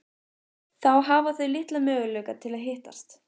Þá hafa þau litla möguleika til að hittast.